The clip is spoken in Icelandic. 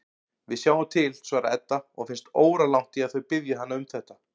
Við sjáum til, svarar Edda og finnst óralangt í að þau biðji hana um þetta.